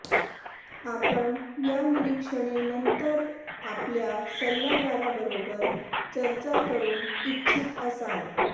आपण या निरीक्षणे नंतर आपल्या सल्लागाराबरोबर चर्चा करू इच्छित असाल